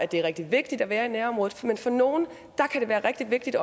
det er rigtig vigtigt at være i nærområdet men for nogen kan det være rigtig vigtigt